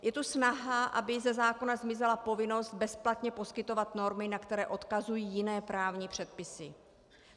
Je tu snaha, aby ze zákona zmizela povinnost bezplatně poskytovat normy, na které odkazují jiné právní předpisy.